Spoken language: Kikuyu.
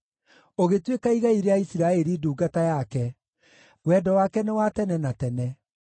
ũgĩtuĩka igai rĩa Isiraeli ndungata yake; Wendo wake nĩ wa tene na tene.